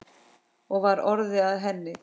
Og var orðið að henni?